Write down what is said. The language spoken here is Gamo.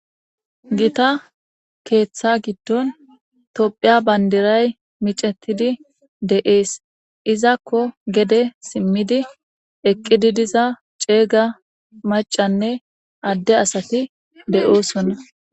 Gita keeththa giddon tophiya bandiray micetidi de7ees izakko gede simmidi eqqidi diza ceega macanne adde asati de7oosonna.